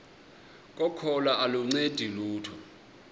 kokholo aluncedi lutho